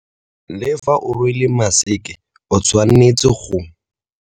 Le fa o rwele maseke o tshwanetse go.